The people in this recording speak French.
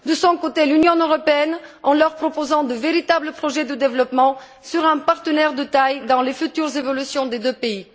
De son côté, l'Union européenne, en leur proposant de véritables projets de développement, sera un partenaire de taille dans les futures évolutions des deux pays.